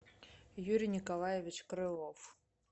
юрий николаевич крылов